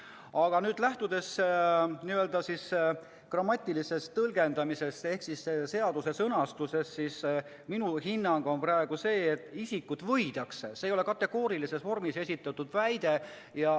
" Aga lähtudes n-ö grammatilisest tõlgendamisest ehk seaduse sõnastusest, on minu hinnang praegu see, et "isikut võidakse" ei ole kategoorilises vormis esitatud väide.